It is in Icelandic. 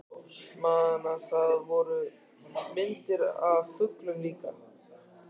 Man að það voru myndir af fuglum líka.